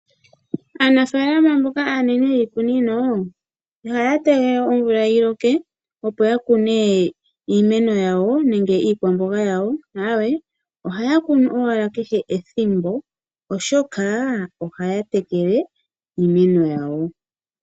Aanafalama mboka aanene yiikunino ihaya tege omvula yi loke opo ya kune iimeno yawo nenge iikwamboga yawo, aawe ohaya kunu owala kehe ethimbo, oshoka ohaya tekele iimeno yawo.